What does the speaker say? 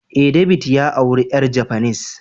Eh, David ya aure yar japanese